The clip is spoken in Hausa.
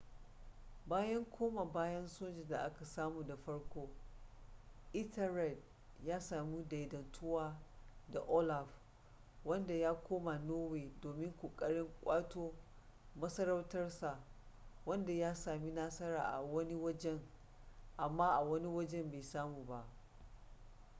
bayan koma bayan soja da aka samu da farko ethelred ya sami daidaituwa da olaf wanda ya koma norway domin kokarin kwato masarautar sa wadda ya sami nasara a wani wajen amma a wani wajen bai samu ba